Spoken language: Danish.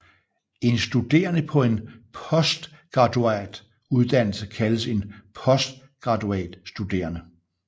En studerende på en postgraduat uddannelse kaldes en postgraduatstuderende